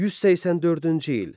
184-cü il.